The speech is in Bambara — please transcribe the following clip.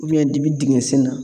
Biyɛndimi dingɛn sen na.